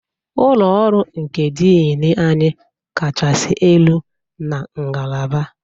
Ụlọ ọrụ nke Dean anyị kachasị elu na ngalaba